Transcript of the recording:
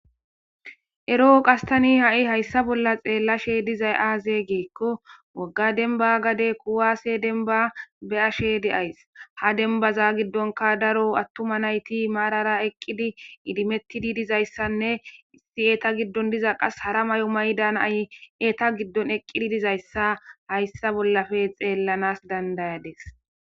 ero7o qastani ha7i hayssa bolla xeellashe dizay aaze giekko wagga denba gade kuwaase denba beyashede ays ha denbaza giddonka daro attuma nayti maarara eqqidi idimettidi dizayssanne issi eeta giddon diza qas hara may7o maydaanay eta giddon eqqidi dizayssa hayssa bollafe xeellanas dandayades